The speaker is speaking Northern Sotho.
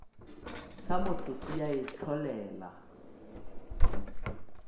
sa motho se a itlholela